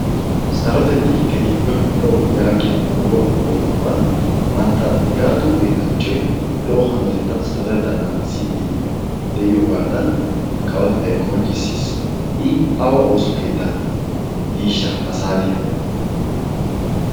sarotettay keehippe lo'o yaagiya nu kawuwaa huupheyyoohuwan mantta nigaatu geetaachchoi lo'o hanotettan sarotettaa naagissiiddi de'iyoogaadan kawotettai qonccissiis. i awa ooso keettan diishsha ha saatiyan.